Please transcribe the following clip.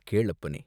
கேள், அப்பனே!